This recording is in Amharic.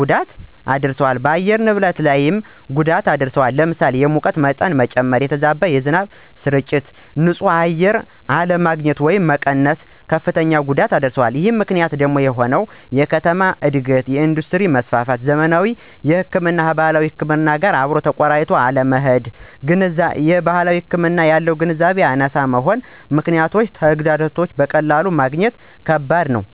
ጎዳት ያስከትላሉ ደ በአየር ንብረት ላይ ብዙ አይነት ጎዳት አለው ለምሳሌ፦ የሙቀት መጨመ፣ የተዛባ የዝናብ ስርጭት፣ ን ፅህ አየር አለግኝት ወየም መቀነስ ዋነኛዎቹ ናቸው። አወ ከባድ ነው፦ ምክንያቱም የከተማ እድገት፣ የእንዱስትሪ መስፍፍት፣ ዘመናዊ ህክምናን ከባህላዊ ጋር አብሮ አለማቆረኘት ስለባህላዊ ህክምና ያለን ግንዛቤ አናሳ መሆን ከነዚህ ምክኔቶች ጋር ተዳምሮ በቀላሉ ማግኘት ከበድ ነው።